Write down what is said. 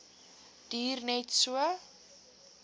duur net so